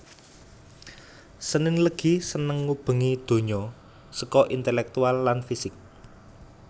Senin Legi Seneng ngubengi donya seko intelektual lan fisik